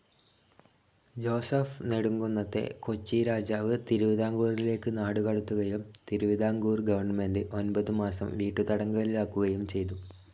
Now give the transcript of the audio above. Joseph നെടുംകുന്നത്തെ കൊച്ചി രാജാവ്‌ തിരുവിതാംകൂറിലേക്ക്‌ നാടുകടത്തുകയും തിരുവിതാംകൂർ ഗവൺമെൻ്റെ് ഒൻപതു മാസം വീട്ടുതടങ്കലിലാക്കുകയും ചെയ്തു.